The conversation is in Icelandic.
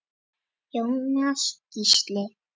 Jóhann Gísli.